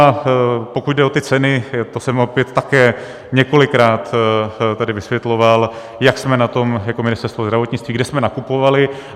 A pokud jde o ty ceny, to jsem opět také několikrát tady vysvětloval, jak jsme na tom jako Ministerstvo zdravotnictví, kde jsme nakupovali.